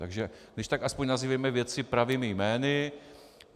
Takže když tak aspoň nazývejme věci pravými jmény.